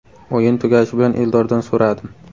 O‘yin tugashi bilan Eldordan so‘radim.